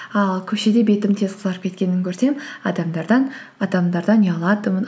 ал көшеде бетім тез қызарып кеткенін көрсем адамдардан ұялатынмын